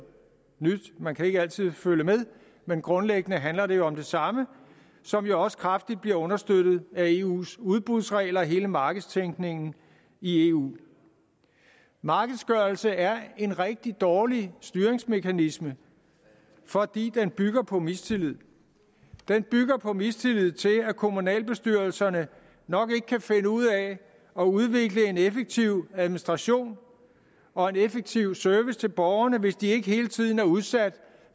nyt man kan ikke altid følge med men grundlæggende handler det om det samme som jo også kraftigt bliver understøttet af eus udbudsregler og hele markedstænkningen i eu markedsgørelse er en rigtig dårlig styringsmekanisme fordi den bygger på mistillid den bygger på mistillid til at kommunalbestyrelserne nok ikke kan finde ud af at udvikle en effektiv administration og en effektiv service til borgerne hvis de ikke hele tiden er udsat